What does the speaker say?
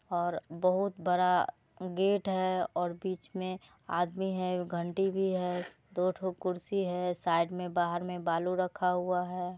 और बोहत बड़ा गेट है और बीच में आदमी है घंटी भी है दोठो कुर्सी है साइड में बाहर में बालू रखा हुआ है।